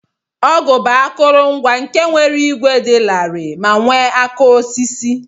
Ọgụ bu akọrọngwa nke nwere igwe di lari me nwe aka osisi.